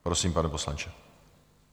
Prosím, pane poslanče.